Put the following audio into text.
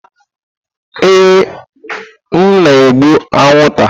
Ee, m na-egbu anwụnta.